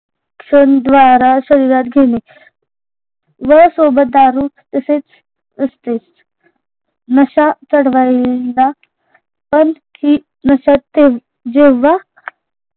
द्वारा शरीरात घेणे व सोबत दारू तसेच असतेच नशा चढवायला पण ही जेव्हा